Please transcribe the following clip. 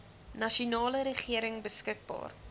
nasionale regering beskikbaar